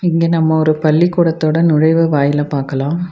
இங்க நம்ப ஒரு பள்ளிக்கூடத்தோட நுழைவு வாயில பாக்கலா.